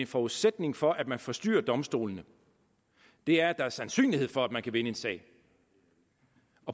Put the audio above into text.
en forudsætning for at man forstyrrer domstolene er at der er en sandsynlighed for at man kan vinde en sag